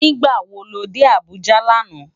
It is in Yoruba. Nigbá wó ló dé Abuja làná?